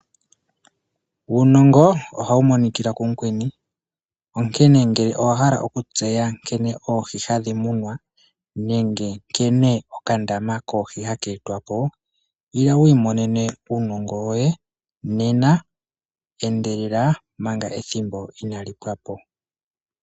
Uunongo ohawu monikila kumukweni onkene ngele owa hala okutseya nkene oohi hadhi munwa nenge nkene okandama koohi haka etwapo ila wu imonene unongo woye nena, endelela omanka ethimbo inaali pwapo.